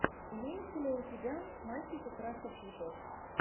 имеется ли у тебя мальчики краше цветов